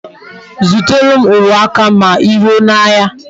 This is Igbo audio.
Zutara m uwe aka ma I ruo n'ahia